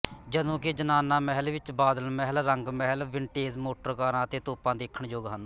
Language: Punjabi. ਜਦੋਂਕਿ ਜ਼ਨਾਨਾ ਮਹਿਲ ਵਿੱਚ ਬਾਦਲ ਮਹਿਲ ਰੰਗ ਮਹਿਲ ਵਿੰਟੇਜ ਮੋਟਰ ਕਾਰਾਂ ਅਤੇ ਤੋਪਾਂ ਦੇਖਣਯੋਗ ਹਨ